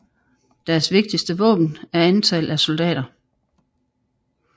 Deres vigtigste våben er antal af soldater